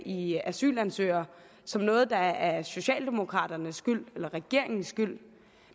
i asylansøgere som noget der er socialdemokraternes eller regeringens skyld